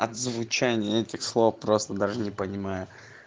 от звучание этих слов просто даже не понимаю